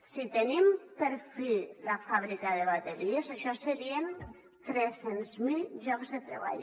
si tenim per fi la fàbrica de bateries això serien tres cents miler llocs de treball